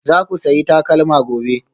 Za ku sayi takalma gobe?